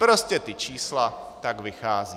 Prostě ta čísla tak vycházejí.